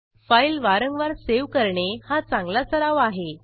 file वारंवार save करणे हा चांगला सराव आहे